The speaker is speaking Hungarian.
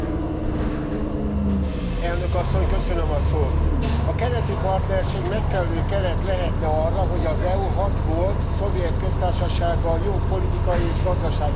Elnök Asszony, a keleti partnerség megfelelő keret lehetne arra, hogy az EU hat volt szovjet köztársasággal jó politikai és gazdasági kapcsolatot alakítson ki.